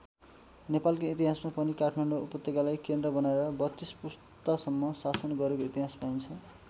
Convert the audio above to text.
नेपालकै इतिहासमा पनि काठमाडौँ उपत्यकालाई केन्द्र बनाएर ३२ पुस्तासम्म शासन गरेको इतिहास पाइन्छ।